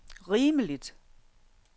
rimeligt